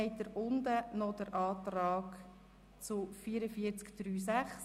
Weiter unten haben Sie die Planungserklärung zur Massnahme 44.3.6.